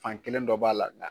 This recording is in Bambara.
Fan kelen dɔ b'a la nga